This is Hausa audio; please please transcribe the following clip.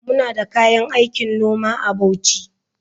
Muna da kayan aikin noma a Bauchi.